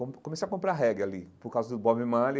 Com comecei a comprar reggae ali, por causa do Bob Marley.